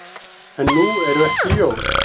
En nú eru ekki jól.